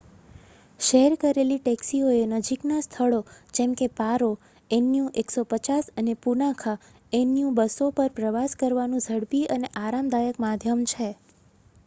share કરેલી ટેક્સીઓએ નજીકના સ્થળો જેમ કે પારો એનયુ 150 અને પુનાખા એનયુ 200 પર પ્રવાસ કરવાનું ઝડપી અને આરામદાયક માધ્યમ છે